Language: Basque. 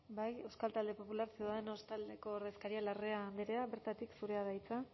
euskal talde popular ciudadanos taldeko ordezkaria larrea andrea bertatik zurea da hitza